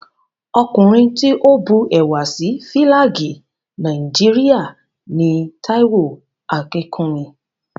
Ọkùnrin tí ó bu ẹwà sí Fílàgì Nàìjíríà ni Táíwò Akínkúnmi